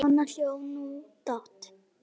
Svo hló hún dátt.